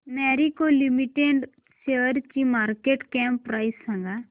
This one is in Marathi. मॅरिको लिमिटेड शेअरची मार्केट कॅप प्राइस सांगा